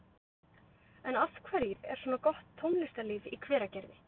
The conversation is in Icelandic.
En af hverju er svona gott tónlistarlíf í Hveragerði?